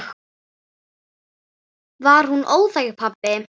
Var hún óþæg, pabbi?